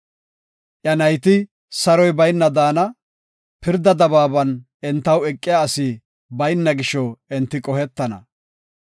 Iya nayti saroy bayna daana; pirda dabaaban entaw eqiya asi bayna gisho enti qohetana.